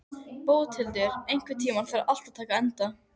Bóthildur, einhvern tímann þarf allt að taka enda.